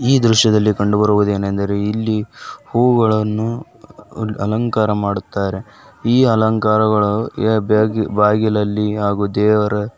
ಈ ದೃಶ್ಯದಲ್ಲಿ ಕಂಡುಬರುವುದು ಏನಂದರೆ ಇಲ್ಲಿ ಹೂವುಗಳನ್ನು ಅ -ಅ ಅಲಂಕಾರ ಮಾಡುತ್ತಾರೆ ಈ ಅಲಂಕಾರವು ಬಾ-ಬಾ ಬಾಗಿಲಲ್ಲಿ ಹಾಗೂ ದೇವರ--